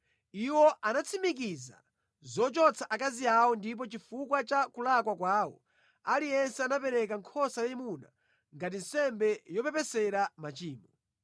Iwo anatsimikiza zochotsa akazi awo ndipo chifukwa cha kulakwa kwawo aliyense anapereka nkhosa yayimuna ngati nsembe yopepesera machimo.